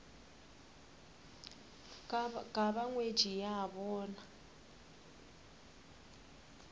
ka ba ngwetši ya bona